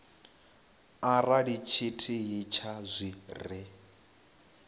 arali tshithihi tsha zwi re